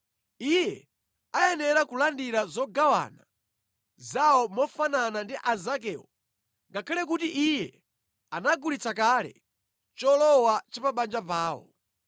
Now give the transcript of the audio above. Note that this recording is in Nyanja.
Iye ayenera kulandira zogawana zawo mofanana ndi anzakewo ngakhale kuti iye anagulitsa kale cholowa cha pa banja pawo.